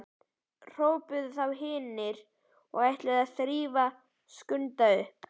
hrópuðu þá hin og ætluðu að þrífa Skunda upp.